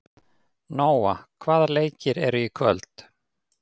Nóa, hvaða leikir eru í kvöld?